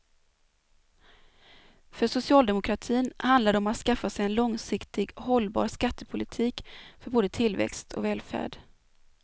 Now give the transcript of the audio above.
För socialdemokratin handlar det om att skaffa sig en långsiktigt hållbar skattepolitik för både tillväxt och välfärd.